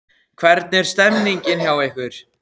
Hvernig er stemmingin hjá ykkur?